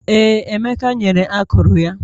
Ee, Emeka nyere akụrụ ya